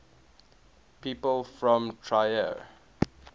people from trier